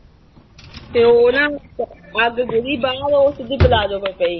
ਤੇ ਉਹ ਨਾ ਅੱਗ ਸਿੱਧੀ ਪਲਾਜੋ ਤੇ ਪਈ।